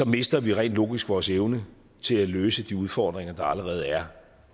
mister vi rent logisk vores evne til at løse de udfordringer der allerede er